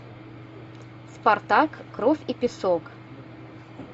спартак кровь и песок